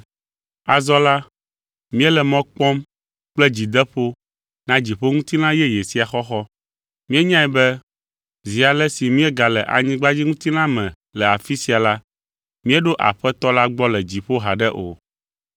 Azɔ la, míele mɔ kpɔm kple dzideƒo na dziƒoŋutilã yeye sia xɔxɔ. Míenyae be zi ale si míegale anyigbadziŋutilã me le afi sia la, míeɖo Aƒetɔ la gbɔ le dziƒo haɖe o.